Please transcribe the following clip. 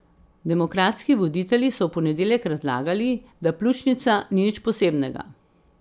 Demokratski voditelji so v ponedeljek razlagali, da pljučnica ni nič posebnega.